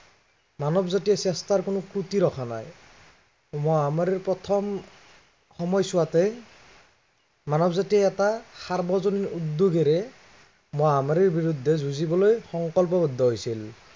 মানৱ জাতিয়ে চেষ্টাৰ কোনো ক্ৰতি ৰখা নাই। মহামাৰীৰ প্ৰথম সময়ছোৱাতে, মানৱজাতিয়ে এটা সাৰ্বজনীন উদ্য়োগেৰে, মহামাৰীৰ বিৰুদ্ধে যুঁজিবলৈ সংকল্পৱদ্ধ হৈছিল।